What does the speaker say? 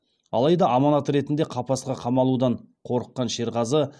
алайда аманат ретінде қапасқа қамалудан қорыққан шерғазы